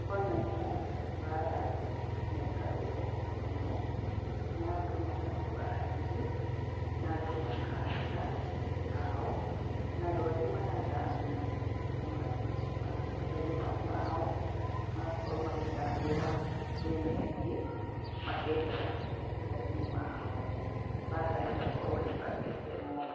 Kwana uma mbara, na ĩkarũo mũno na andũ magakua aingĩ ,na andũ makaaga andũ ao na andũ angĩ magathamio ,kuma matũra-inĩ mau mao magakorwo magĩthamĩra mĩena ĩngĩ, makehera matũra-inĩ mao ,mbara ĩgakorwo ĩcacĩte mũno.